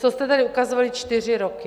To jste tady ukazovali čtyři roky.